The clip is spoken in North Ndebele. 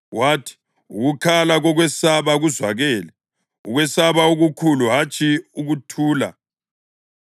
“Wathi: ‘Ukukhala kokwesaba kuzwakele, ukwesaba okukhulu, hatshi ukuthula.